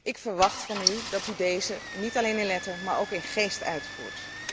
Ik verwacht van u dat u deze niet alleen in de letter, maar ook in de geest uitvoert.